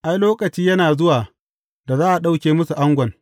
Ai, lokaci yana zuwa da za a ɗauke musu angon.